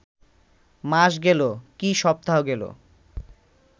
মাস গেল, কি সপ্তাহ গেল